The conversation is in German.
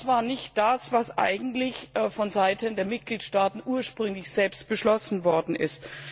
Das war nicht das, was eigentlich vonseiten der Mitgliedstaaten ursprünglich beschlossen worden ist.